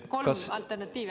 Te andsite kolm alternatiivi.